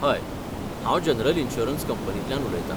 हय, हांव general insurance कंपनीतल्यान उलयतां.